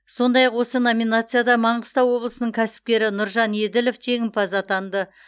сондай ақ осы номинацияда маңғыстау облысының кәсіпкері нұржан еділов жеңімпаз атанды